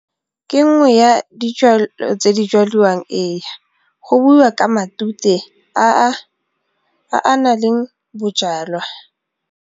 Ke nngwe ya dijalo tse di jalwang, ee, go buiwa ka matute a a nang le bojalwa.